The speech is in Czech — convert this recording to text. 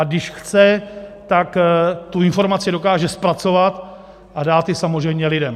A když chce, tak tu informaci dokáže zpracovat a dát ji samozřejmě lidem.